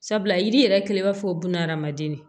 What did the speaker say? Sabula yiri yɛrɛ kɛlen b'a fɔ bunahadamaden